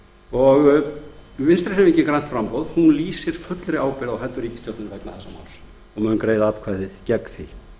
og vinstri hreyfingin grænt framboð lýsir fullri ábyrgð á hendur ríkisstjórninni vegna þessa máls og mun greiða atkvæði gegn því hér